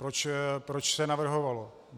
Proč se navrhovalo.